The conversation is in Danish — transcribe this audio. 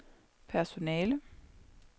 personale